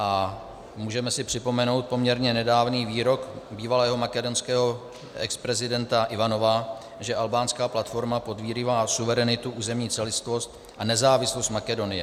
A můžeme si připomenout poměrně nedávný výrok bývalého makedonského exprezidenta Ivanova, že albánská platforma podrývá suverenitu, územní celistvost a nezávislost Makedonie.